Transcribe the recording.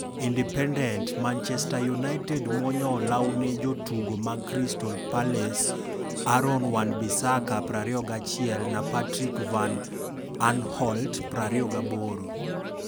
(Independent) Manchester United muonyo olaw ne jotugo mag Crystal Palace Aaron Wan-Bissaka, 21, na Patrick Van Aanholt, 28.